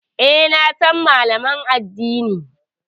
E, na san Malamin addinin.